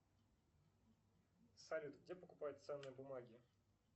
салют где покупать ценные бумаги